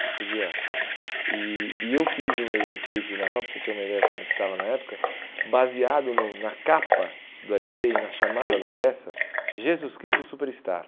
Você podia... E e eu fiz o meu enfeite de Natal, para você ter uma ideia de como estava na época, baseado na capa do ele pê e na chamada da peça, Jesus Cristo Superstar.